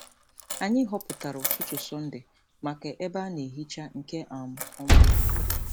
Anyị họpụtara ụtụtụ Sọnde maka ebe a na-ehicha nke um ọma.